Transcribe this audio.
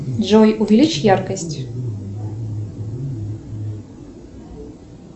джой увеличь яркость